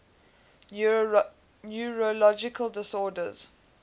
neurological disorders